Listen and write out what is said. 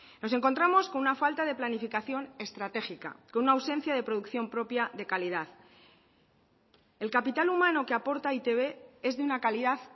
nos encontramos con una falta de planificación estratégica con una ausencia de producción propia de calidad el capital humano que aporta e i te be es de una calidad